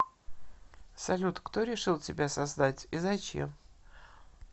салют кто решил тебя создать и зачем